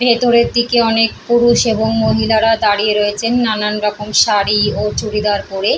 ভেতরের দিকে অনেক পুরুষ এবং মহিলারা দাঁড়িয়ে রয়েছেন নানান রকম শাড়ি ও চুড়িদার পরে।